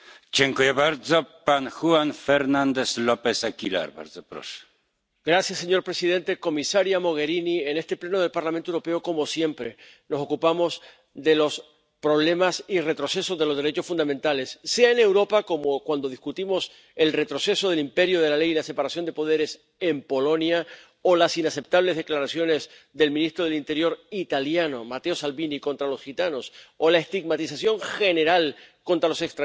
Señor presidente, señora Mogherini, en este Pleno del Parlamento Europeo, como siempre, nos ocupamos de los problemas y retrocesos de los derechos fundamentales, sea en Europa, como cuando discutimos el retroceso del imperio de la ley y la separación de poderes en Polonia o las inaceptables declaraciones del ministro del Interior italiano, Matteo Salvini, contra los gitanos o la estigmatización general contra los extranjeros, como si fueran una amenaza contra nuestra seguridad, cuando, en realidad, muchos de ellos huyen del terror.